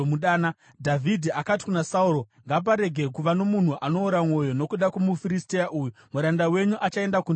Dhavhidhi akati kuna Sauro, “Ngaparege kuva nomunhu anoora mwoyo nokuda kwomuFiristia uyu; muranda wenyu achaenda kundorwa naye.”